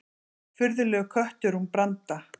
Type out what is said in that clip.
Furðulegur köttur hún Branda.